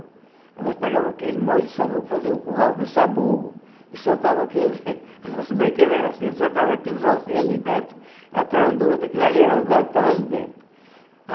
Aí nós pegava aquele molho de sabugo, fazia um curral do sabugo, e soltava aqueles... Nosso brinquedo era assim, soltava aqueles ossinhos ali dentro, atrás um do outro, aquele ali era do gado, estava ali dentro.